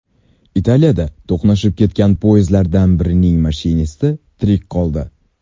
Italiyada to‘qnashib ketgan poyezdlardan birining mashinisti tirik qoldi.